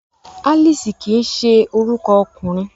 Alice kii se oruko okunrin